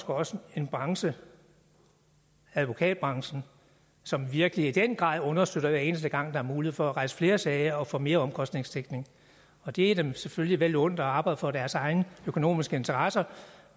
også en branche advokatbranchen som virkelig i den grad understøtter det hver eneste gang der er mulighed for at rejse flere sager og få mere omkostningsdækning og det er dem selvfølgelig vel undt at arbejde for deres egne økonomiske interesser